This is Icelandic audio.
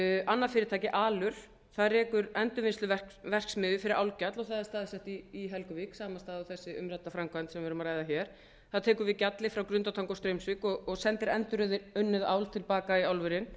annað fyrirtæki alur það rekur endurvinnsluverksmiðju fyrir álgjall og það er staðsett í helguvík sama stað og þessi umrædda framkvæmd sem við erum að ræða hér það tekur við gjalli frá grundartanga og straumsvík og sendir endurunnið ál til baka í álverin